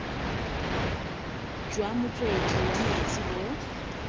jwa motswedi wa metsi bo